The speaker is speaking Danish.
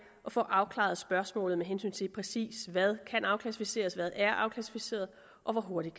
at få afklaret spørgsmålet med hensyn til præcis hvad kan afklassificeres hvad der er afklassificeret og hvor hurtigt